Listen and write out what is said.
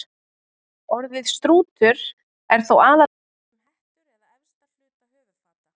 Orðið strútur er þó aðallega haft um hettur eða efsta hluta höfuðfata.